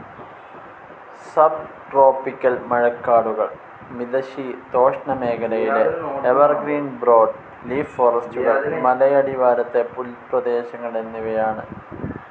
Sub tropical മഴക്കാടുകൾ, മിതശീതോഷ്ണമേഖലയിലെ evergreen broad leaf ഫോറസ്റ്റുകൾ, മലയടിവാരത്തെ പുൽപ്രദേശങ്ങൾ എന്നിവയാണ്.